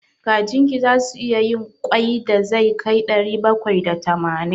Kajin ki zasu iya yin ƙwai da zai kai ɗari bakwai da tamanin?